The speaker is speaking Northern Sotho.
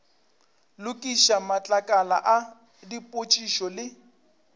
lokiša matlakala a dipotšišo le